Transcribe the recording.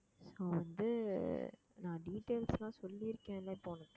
நான் வந்து நான் details லாம் சொல்லி இருக்கேன்ல இப்போ உனக்கு